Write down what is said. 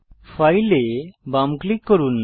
file এ বাম click করুন